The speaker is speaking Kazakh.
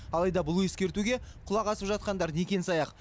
алайда бұл ескертуге құлақ асып жатқандар некен саяқ